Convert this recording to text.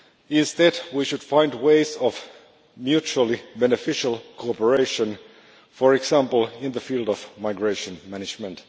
Instead, we should find ways of mutually beneficial cooperation, for example in the field of migration management.